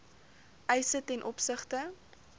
eise ten opsigte